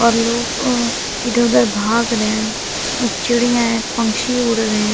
और लोग अ इधर भाग रहे हैं और चिड़िया हैं पंक्षी उड़ रहे हैं।